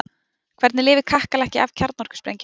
hvernig lifir kakkalakki af kjarnorkusprengju